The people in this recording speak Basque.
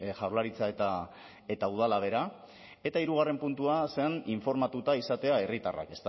jaurlaritza eta udala bera eta hirugarren puntua zen informatuta izatea herritarrak